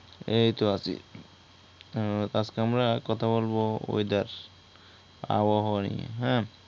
এইত আছি । উম তো আজকে আমরা কথা বলবো ওয়েদার, আবহাওয়া নিয়ে হ্যা ।